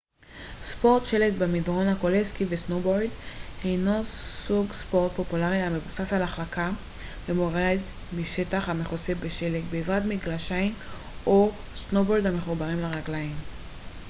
ספורט שלג במדרון הכולל סקי וסנובורד הינו סוג ספורט פופולרי המבוסס על החלקה במורד משטח המכוסה בשלג בעזרת מגלשיים או סנובורד המחוברים לרגליים